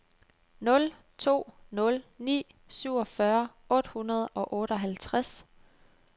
nul to nul ni syvogfyrre otte hundrede og otteoghalvtreds